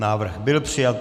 Návrh byl přijat.